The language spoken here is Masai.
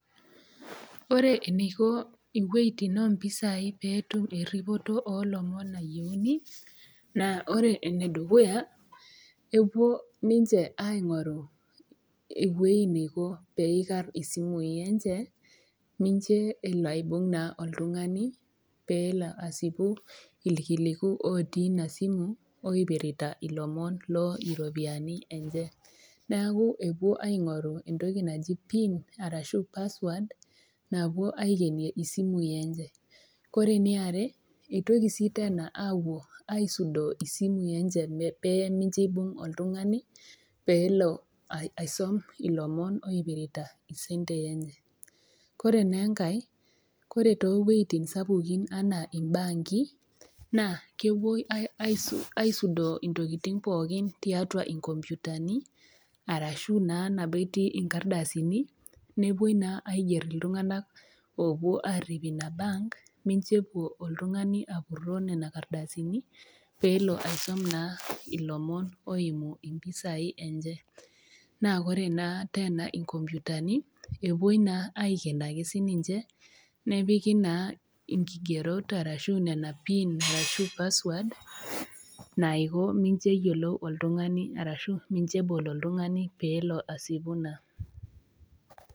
Ore eneiko inwuetin oo mpisai eneiko eripoto olomon nayieuni, naa ore ene dukuya epuo ninche aing'oru ewueji neiko pee eikar isimui enche, mincho elo aibung' naa oltung'ani peelo aasipu iilkiliku ootii Ina simu oipirita ilomon loo iropiani enye , neaku epuo aing'oru entoki naji pin arashu password, naapuo aikenie isimui enye. Ore ene are eitoki sii teena apuo aisudoo isimui enche pee mincho eibung' oltung'ani peelo aisom ilomon oipirita isentei enye, ore naa enkai, ore too inwuetin sapukin anaa imbaanki, naa kepuoi aisudoo intokitin pookin tiatua inkopyutani arashu naa nabo etii inkardasini, nepuoi naa aiger iltung'ana oopuo arip Ina bank, mincho elo oltung'ani apuroo Nena kardasini, peelo aisom naa ilomon oimu impisai enye. Naa ore naa teena inkopyutani, epuoi naa aiken siininye nepiki naa inkigerot ashu nena piini ashu password naiko mincho eyiolou oltung'ani arashu mincho ebol oltung'ani peelo aasipu naa.